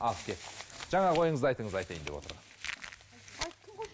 ал кеттік жаңағы ойыңызды айтыңыз айтайын деп отырған